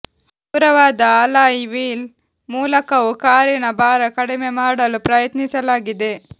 ಹಗುರವಾದ alloy wheel ಮೂಲಕವೂ ಕಾರಿನ ಭಾರ ಕಡಿಮೆ ಮಾಡಲು ಪ್ರಯತ್ನಿಸಲಾಗಿದೆ